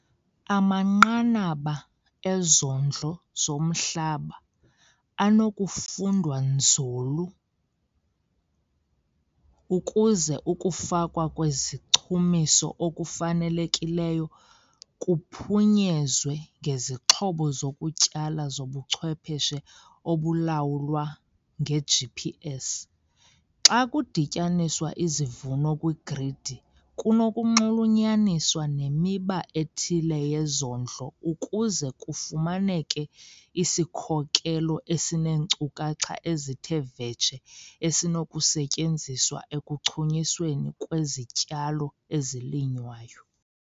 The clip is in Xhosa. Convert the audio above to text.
Amanqanaba ezondlo zomhlaba anokufundwa nzulu ukuze ukufakwa kwezichumiso okufanelekileyo kuphunyezwe ngezixhobo zokutyala zobuchwepheshe obulawulwa nge-GPS. Xa kudityaniswa izivuno kwigridi kunokunxulunyaniswa nemiba ethile yezondlo ukuze kufumaneke isikhokelo esineenkcukacha ezithe vetshe esinokusetyenziswa ekuchunyisweni kwezityalo ezilinywayo.